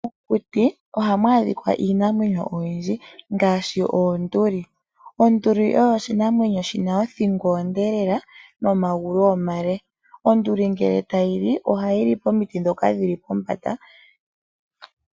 Mokuti ohamu adhika iinamwenyo oyindji lela ngaashi oonduli ,onduli oyo oshinamwenyo shona othingo onde lela nomagulu omale ,onduli ngele tayili ohayili komiti ndhoka dhili pombanda.